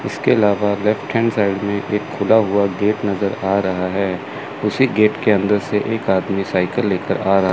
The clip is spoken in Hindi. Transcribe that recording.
इसके अलावा लेफ्ट हैंड साईड में एक खुला हुआ गेट नजर आ रहा है उसी गेट के अंदर से एक आदमी साइकिल लेकर आ रहा--